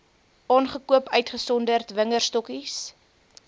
aangekoop uitgesonderd wingerdstokkies